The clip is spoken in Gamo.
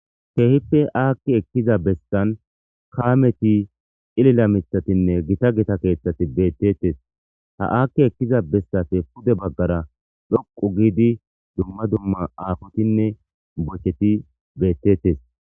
keehippe aakki ekkiza bessan kaameti cilila mithatinne gita gita keeththati beettettes ha aakki ekkiza bessafe pude baggara dhoqu giidi dumma dumma aafotinne bocheti beettettes